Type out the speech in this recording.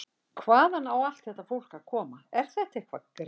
Hvaðan á allt þetta fólk að koma, er þetta eitthvert grín?